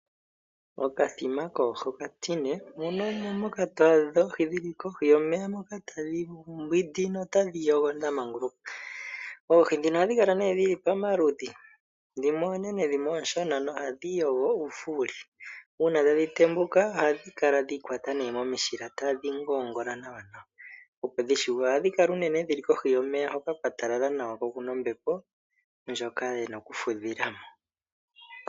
Okathima koohi okatine, mono omo moka twaadha oohi dhili kohi yomeya moka tadhi mbwidi notadhi yogo dhamanguluka. Oohi dhino kala nee dhili pamaludhi, dhimwe oonene dhimwe ooshona nohadhi yogo ufuuli. Uuna tadhi tembuka, ohadhi kala dhi ikwata momishilila tadhi ngongola nawa nawa opo dhi shune. Ohadhi kala uunene dhili kohi yomeya hoka kwatalala nawa ko okuna ombepo ndjoka yena okufudhila mo.